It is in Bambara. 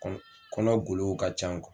Kɔnɔ kɔnɔgolow ka can